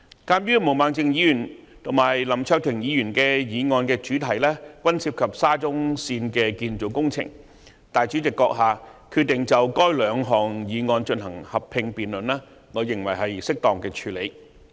鑒於毛孟靜議員及林卓廷議員的議案主題均涉及沙中線建造工程，主席閣下決定就該兩項議案進行合併辯論，我認為是適當的處理方法。